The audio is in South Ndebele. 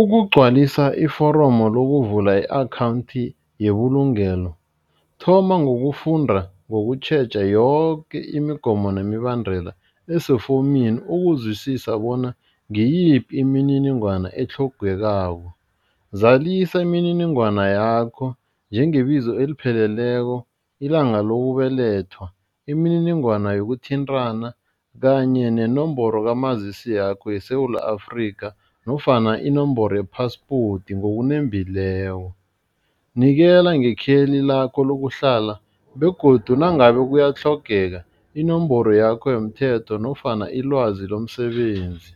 Ukugcwalisa iforomu lokuvula i-akhawundi yebulungelo thoma ngokufunda ngokutjheja yoke imigomo nemibandela esefowunini ukuzwisisa bona ngiyiphi imininingwana etlhogekako, zalisa imininingwana yakho njengebizo elipheleleko, ilanga lokubelethwa, imininingwana yokuthintana kanye nenomboro kamazisi yakho yeSewula Afrika nofana inomboro ye-passport ngokunembileko, nikela ngekheli lakho lakuhlala begodu nangabe kuyatlhogeka inomboro yakho yomthetho nofana ilwazi lomsebenzi,